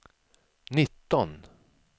nitton